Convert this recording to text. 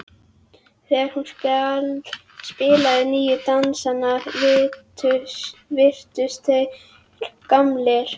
Þegar hún spilaði nýju dansana virtust þeir gamlir.